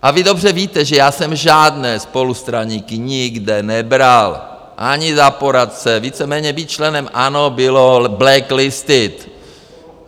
A vy dobře víte, že já jsem žádné spolustraníky nikde nebral ani za poradce, víceméně být členem ANO bylo blacklisted.